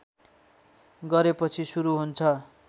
गरेपछि सुरू हुन्छ